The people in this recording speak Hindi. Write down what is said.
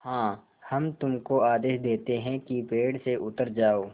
हाँ हम तुमको आदेश देते हैं कि पेड़ से उतर जाओ